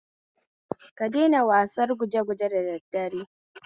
Ka daina wasar gujeguje da da daddare